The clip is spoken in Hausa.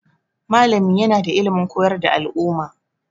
Malami yana da ilimin koyar da al'umma.